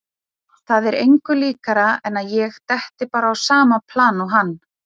Það er engu líkara en að ég detti bara á sama plan og hann.